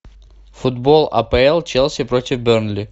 футбол апл челси против бернли